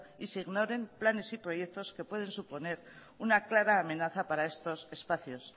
y se ignoren planes y proyectos que pueden suponer una clara amenaza para estos espacios